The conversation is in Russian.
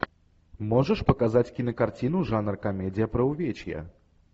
можешь показать кинокартину жанр комедия про увечья